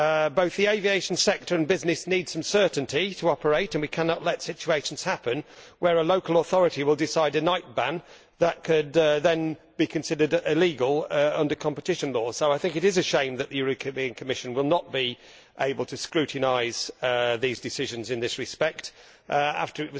Both the aviation sector and businesses need some certainty to operate and we cannot let situations happen where a local authority will decide a night ban that could then be considered illegal under competition law. So I think it is a shame that the Commission will not be able to scrutinise these decisions in this respect, after